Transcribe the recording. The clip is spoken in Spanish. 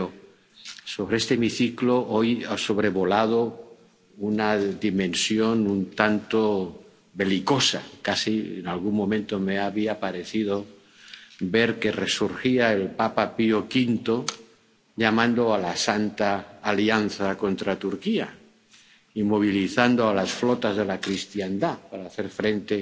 Pero sobre este hemiciclo, hoy, ha sobrevolado una dimensión un tanto belicosa, casi en algún momento me había parecido ver que resurgía el papa Pío V llamando a la Santa Alianza contra Turquía y movilizando a las flotas de la cristiandad para hacer frente